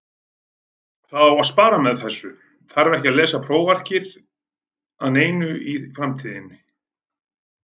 Það á að spara með þessu, þarf ekki að lesa prófarkir að neinu í framtíðinni.